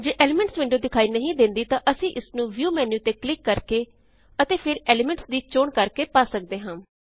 ਜੇ elements window ਵਿਖਾਈ ਨਹੀਂ ਦੇਂਦੀ ਤਾਂ ਅਸੀਂ ਇਸਨੂੰ ਵਿਊ ਮੇਨ੍ਯੂ ਤੇ ਕਲਿਕ ਕਰਕੇ ਅਤੇ ਫ਼ੇਰ ਐਲੀਮੈਂਟਸ ਦੀ ਚੋਣ ਕਰਕੇ ਪਾ ਸਕਦੇ ਹਾਂ